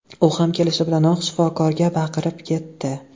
U ham kelishi bilanoq shifokorga baqirib ketdi.